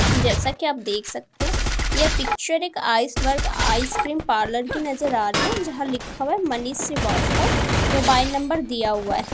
जैसा कि आप देख सकते हैं यह पिक्चर एक आइसबर्ग आइसक्रीम पार्लर की नजर आ रही है जहां लिखा हुआ है मनीष श्रीवास्तव मोबाइल नंबर दिया हुआ है।